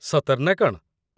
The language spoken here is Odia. ସତରେ ନା କ'ଣ ?